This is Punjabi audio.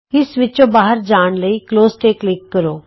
ਇਸ ਵਿੱਚੋਂ ਬਾਹਰ ਜਾਣ ਲਈ ਕਲੋਜ਼ ਤੇ ਕਲਿਕ ਕਰੋ